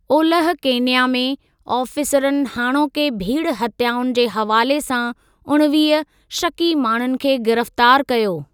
ओलह केनिया में आफ़ीसरनि हाणोके भीड़ हत्याउनि जे हवाले सां उणिवीह शकी माण्हुनि खे गिरफ़्तार कयो।